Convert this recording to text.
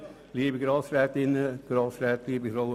Kommissionssprecher der GPK.